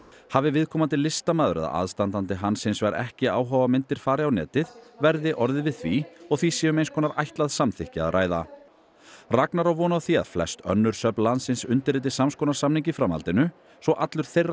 hafi viðkomandi listamaður eða aðstandandi hans hins vegar ekki áhuga á að myndir fari á netið verði orðið við því og því sé um eins konar ætlað samþykki að ræða Ragnar á von á því að flest önnur söfn landsins undirriti sams konar samning í framhaldinu svo allur þeirra